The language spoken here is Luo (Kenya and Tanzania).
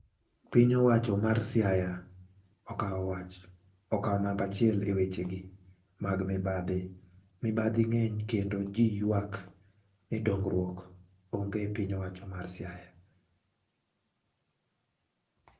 Piny owacho mar Siaya okawo wach ikawo namba achiel eweche gi mag mibadhi. Mibadhi ng'eny kendo jii ywak ni dongruok onge e piny owacho mar Siaya.